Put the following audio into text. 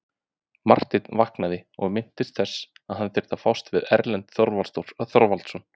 Marteinn vaknaði og minntist þess að hann þurfti að fást við Erlend Þorvarðarson.